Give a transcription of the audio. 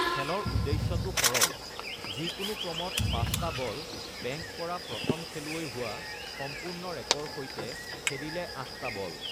খেলৰ উদ্দেশ্য টো সৰল: যিকোনো ক্ৰমত পাঁচটা বল বেংক কৰা প্ৰথম খেলুৱৈ হোৱা (সম্পূৰ্ণ ৰেকৰ সৈতে খেলিলে আঠটা বল)।